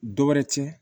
Dɔ wɛrɛ cɛn